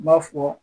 N b'a fɔ